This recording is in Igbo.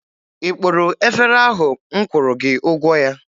Ị kpụrụ efere ahụ m kwụrụ gị ụgwọ ya?